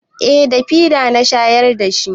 Eh da fida na shayar da shi.